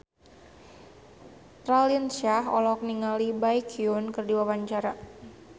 Raline Shah olohok ningali Baekhyun keur diwawancara